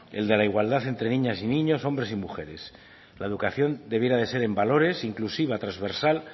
el de la igualdad entre niñas y niños hombres y mujeres la educación debiera de ser en valores inclusiva transversal